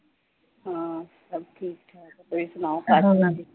ਸਭ ਠੀਕ-ਠਾਕ ਤੁਸੀਂ ਸੁਣਾਓ